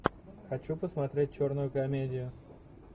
хочу посмотреть черную комедию